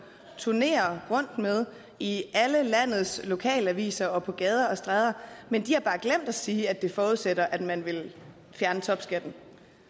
turnere rundt med i alle landets lokalaviser og på gader og stræder men de har bare glemt at sige at det forudsætter at man vil fjerne topskatten